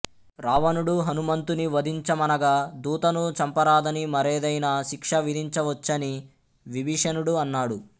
రావణుడు హనుమంతుని వంధించమనగా దూతను చంపరాదని మరేదైనా శిక్ష విధించవచ్చని విభీషణుడు అన్నాడు